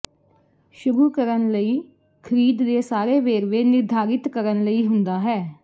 ਸ਼ੁਰੂ ਕਰਨ ਲਈ ਖਰੀਦ ਦੇ ਸਾਰੇ ਵੇਰਵੇ ਨਿਰਧਾਰਿਤ ਕਰਨ ਲਈ ਹੁੰਦਾ ਹੈ